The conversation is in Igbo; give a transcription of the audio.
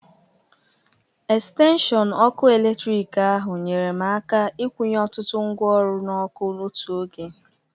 extenshịọn ọkụ eletrik ahụ nyeere m aka ịkwunye ọtụtụ ngwaọrụ n'ọku otu oge